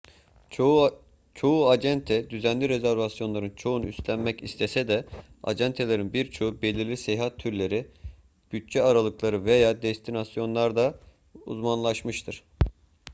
çoğu acente düzenli rezervasyonların çoğunu üstlenmek istese de acentelerin birçoğu belirli seyahat türleri bütçe aralıkları veya destinasyonlarda uzmanlaşmıştır